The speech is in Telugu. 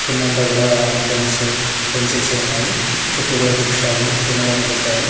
కిందంతా కూడా పెన్స్ పెన్సిల్సు ఉన్నాయి చుట్టూ కూడా బుక్ స్టాలు పెన్ను లన్నీ పెట్టారు.